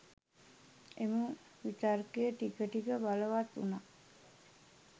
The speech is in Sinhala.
එම විතර්කය ටික ටික බලවත් වුනා.